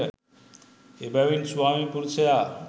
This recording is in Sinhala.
එබැවින් ස්වාමි පුරුෂයා